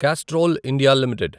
Castrol India limited